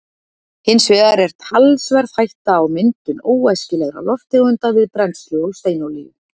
hins vegar er talsverð hætta á myndun óæskilegra lofttegunda við brennslu á steinolíu